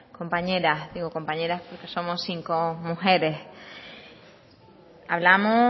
compañeras digo compañeras porque somos cinco mujeres hablamos